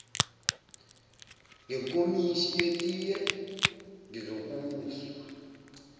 ngenkomishi yetiye ngizokuzwa